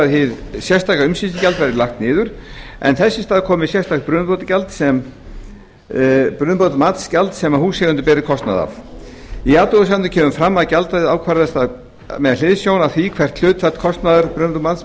hið sérstaka umsýslugjald verði lagt niður en þess í stað komi sérstakt brunabótamatsgjald sem húseigendur beri kostnað af í athugasemdum kemur fram að gjaldið ákvarðist með hliðsjón af því hvert hlutfall kostnaðar